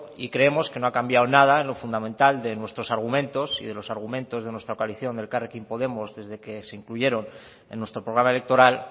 y creemos que no ha cambiado nada en lo fundamental de nuestros argumentos y de los argumentos con la coalición de elkarrekin podemos desde que se incluyeron en nuestro programa electoral